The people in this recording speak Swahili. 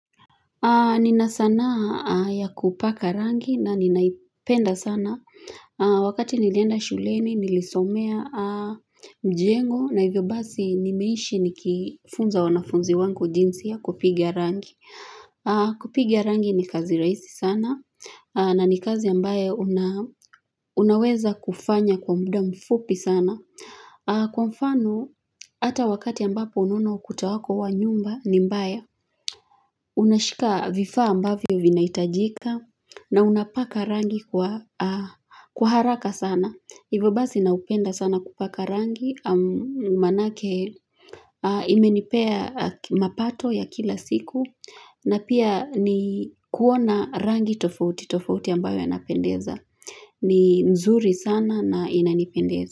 Nina sanaa ya kupaka rangi na ninaipenda sana. Wakati nilienda shuleni, nilisomea mjengo na hivyo basi nimeishi nikifunza wanafunzi wangu jinsi ya kupiga rangi. Kupiga rangi ni kazi rahisi sana na ni kazi ambayo unaweza kufanya kwa muda mfupi sana. Kwa mfano, hata wakati ambapo unaona ukuta wako wa nyumba ni mbaya, unashika vifaa ambavyo vinahitajika na unapaka rangi kwa haraka sana. Hivyo basi naupenda sana kupaka rangi Maanake imenipea mapato ya kila siku na pia ni kuona rangi tofauti tofauti ambayo yanapendeza ni nzuri sana na inanipendeza.